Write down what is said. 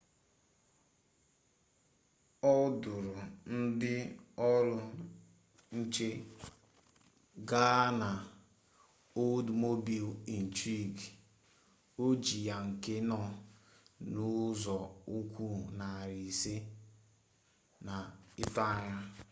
ọ dụrụ ndị ọrụ nche gaa na oldsmobile intrigue ojii ya nke nọ n'ụzọukwu narị ise n'itoanya